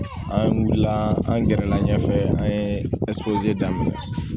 An wulila an gɛrɛla ɲɛfɛ an ye daminɛ